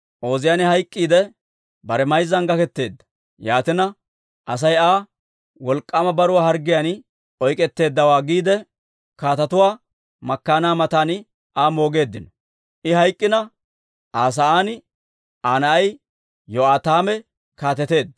Ooziyaane hayk'k'iidde, bare mayzzan gaketeedda. Yaatina, Asay Aa, «wolk'k'aama baruwaa harggiyaan oyk'k'etteeddawaa» giide, kaatetuwaa makkaanaa matan Aa moogeeddino. I hayk'k'ina, Aa sa'aan Aa na'ay Yo'aataame kaateteedda.